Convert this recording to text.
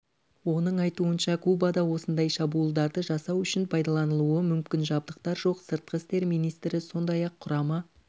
оның айтуынша кубада осындай шабуылдарды жасау үшін пайдаланылуы мүмкін жабдықтар жоқ сыртқы істер министрі сондай-ақ құрама